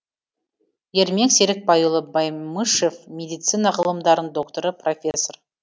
ермек серікбайұлы баймышев медицина ғылымдарының докторы профессор